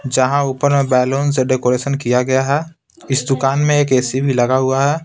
जहां ऊपर में बैलून से डेकोरेशन किया गया है इस दुकान में एक ए_सी भी लगा हुआ है।